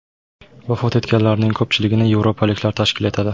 Vafot etganlarning ko‘pchiligini yevropaliklar tashkil etadi.